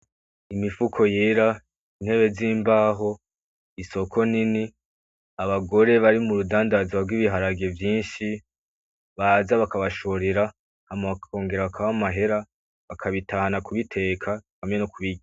Imifuko yera intebe zimbaho isoko nini abagore bari murudandazwa rwi biharage vyinshi baza bakabashorera hama bakongera bakabaha amahera bakabitahana kubiteka hamwe nokubirya